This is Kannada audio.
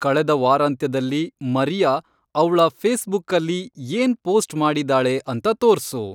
ಕಳೆದ ವಾರಾಂತ್ಯದಲ್ಲಿ ಮರಿಯಾ ಅವ್ಳ ಫೇಸ್ಬುಕ್ಕಲ್ಲಿ ಏನ್‌ ಪೋಸ್ಟ್‌ ಮಾಡಿದಾಳೆ ಅಂತ ತೋರ್ಸು